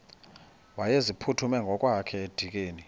wayeziphuthume ngokwakhe edikeni